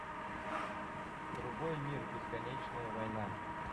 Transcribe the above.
другой мир бесконечная война